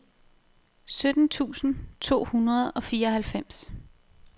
sytten tusind to hundrede og fireoghalvfems